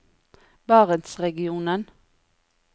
barentsregionen